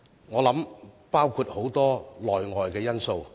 我想當中包含很多內外因素。